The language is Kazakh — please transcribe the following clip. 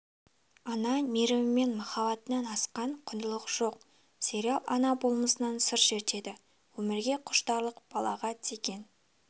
ана мейірі мен махаббатынан асқан құндылық жоқ сериал ана болмысынан сыр шертеді өмірге құштарлық балаға деген